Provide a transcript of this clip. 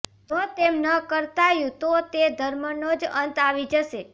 જો તેમ ન કરતાયું તો તે ધર્મનો જ અંત આવી જશે